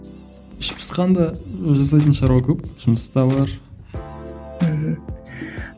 іш пысқанда біз жасайтын шаруа көп жұмыс та бар мхм